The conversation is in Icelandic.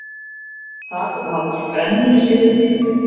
þar voru haldnar brennur í seinni tíð